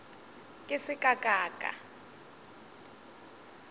ke se ka ka ka